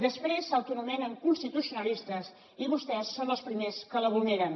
després s’autoanomenen constitucionalistes i vostès són els primers que la vulneren